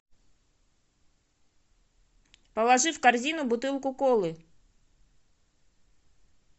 положи в корзину бутылку колы